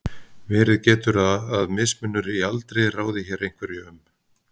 verið getur að mismunur í aldri ráði hér einhverju um